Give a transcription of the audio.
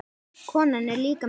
Konan er líka með byssu.